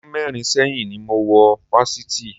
Ọdún mẹ́rin sẹ́yìn ni mo wọ Fáṣítì